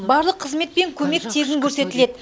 барлық қызмет пен көмек тегін көрсетіледі